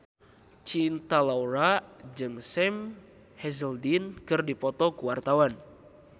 Cinta Laura jeung Sam Hazeldine keur dipoto ku wartawan